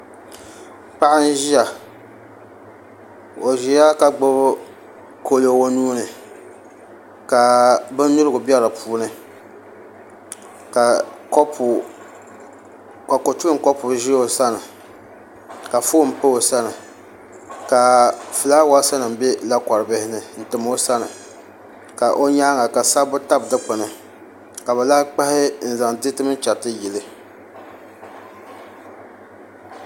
Paɣa n ʒiya ka gbubi kalo o nuuni ka bindirigu bɛ di puuni ka kotulim kopu ʒi o sani ka foon pa o sani ka fulaawaasi nim bɛ lakori bihi ni n tam o sani ka o nyaanga ka sabbu tabi dikpuni ka bi lahi kpahi n zaŋ diriti mini chɛriti yili